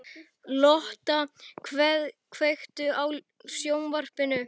Lotta, kveiktu á sjónvarpinu.